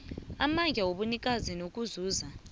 amandla wobunikazi nokuzuza